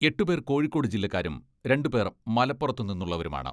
എട്ടുപേർ കോഴിക്കോട് ജില്ലക്കാരും രണ്ടുപേർ മലപ്പുറത്തുനിന്നുള്ളവരുമാണ്.